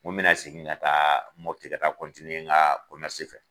Nko bɛ na segin ka taa Mɔpti ka taa nka fɛ.